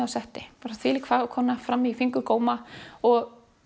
á setti þvílík fram í fingurgóma og